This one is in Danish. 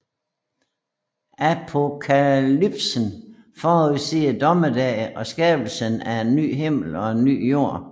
Apokalypsen forudsiger dommedag og skabelsen af en ny himmel og en ny jord